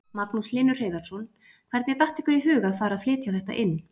Magnús Hlynur Hreiðarsson: Hvernig datt ykkur í huga að fara að flytja þetta inn?